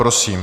Prosím.